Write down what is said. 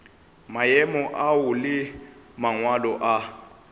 maemo ao le mangwalo a